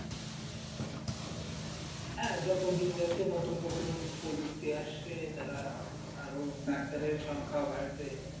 হ্যাঁ যত দিন যাচ্ছে, নতুন নতুন প্রযুক্তি আসছে, তারপরে আরো doctor এর সংখা বাড়ছে